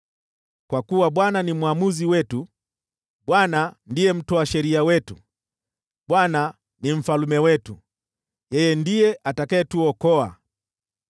Kwa kuwa Bwana ni mwamuzi wetu, Bwana ndiye mtoa sheria wetu, Bwana ni mfalme wetu, yeye ndiye atakayetuokoa.